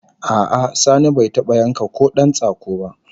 A'a Sani bai taba yanka kodan tsako ba